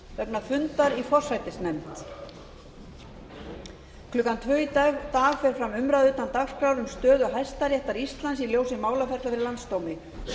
vegna fundar í forsætisnefnd klukkan tvö í dag fer fram umræða utan dagskrár um stöðu hæstaréttar íslands í ljósi málaferla fyrir landsdómi